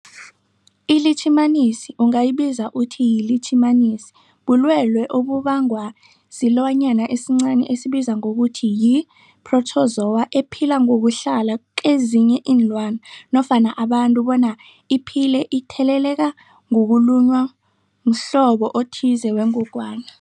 iLitjhimanisi ungayibiza uthiyilitjhimanisi, bulwelwe obubangwa silwanyana esincani esibizwa ngokuthiyi-phrotozowa ephila ngokuhlala kezinye iinlwana nofana abantu bona iphile itheleleka ngokulunywa mhlobo othize wengogwana.